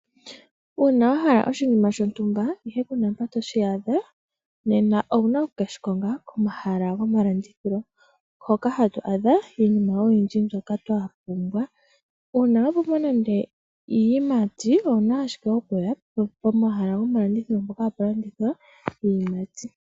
Uuna wa hala oshinima shontumba ihe kuna mpa toshi adha, nena owuna oku keshi konga komahala gomalandithilo, hoka hatu adha iinima ayihe twa pumbwa. Uuna wa pumbwa nande iiyimati, owuna ashike okuya pomahala mpoka hapu landithilwa iiyimati.